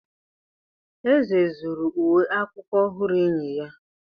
Eze zuru uwe akwụkwọ ọhụrụ enyi ya.